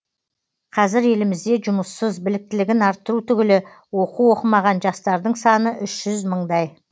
қазір елімізде жұмыссыз біліктілігін арттыру түгілі оқу оқымаған жастардың саны үш жүз мыңдай